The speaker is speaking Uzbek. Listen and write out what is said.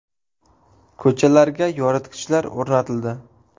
Ko‘chalarga yoritgichlar o‘rnatildi.